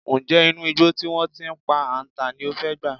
Ǹjé̩ inú igbó tí wó̩n ti pa àǹtà ní o fé̩ gbà?